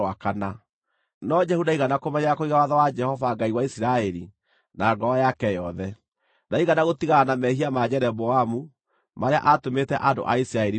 No Jehu ndaigana kũmenyerera kũiga watho wa Jehova, Ngai wa Isiraeli, na ngoro yake yothe. Ndaigana gũtigana na mehia ma Jeroboamu, marĩa atũmĩte andũ a Isiraeli mehie.